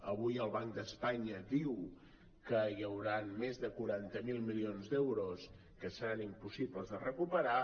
avui el banc d’espanya diu que hi hauran més de quaranta miler milions d’euros que seran impossibles de recuperar